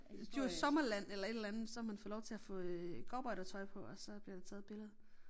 Djurs Sommerland eller et eller andet så har man fået lov til at få øh cowboydertøj på og så bliver der taget et billede